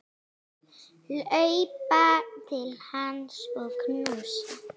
Hlaupa til hans og knúsa.